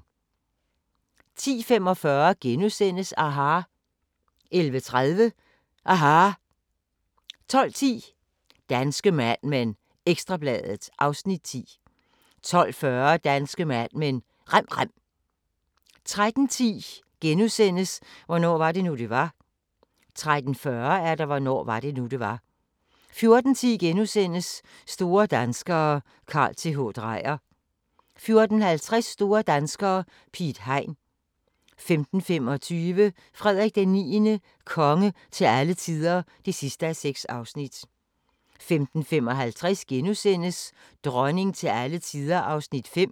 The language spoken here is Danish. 10:45: aHA! * 11:30: aHA! 12:10: Danske Mad Men: Ekstra Bladet (Afs. 10) 12:40: Danske Mad Men: Rem rem 13:10: Hvornår var det nu, det var? * 13:40: Hvornår var det nu, det var? 14:10: Store danskere - Carl Th. Dreyer * 14:50: Store danskere - Piet Hein 15:25: Frederik IX – konge til alle tider (6:6) 15:55: Dronning til alle tider (5:6)*